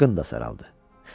Qın da saraldı.